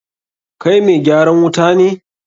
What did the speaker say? Kai mai gyaran wuta ne?